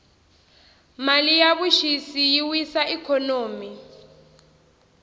mali ya vuxisi yi wisa ikhonomi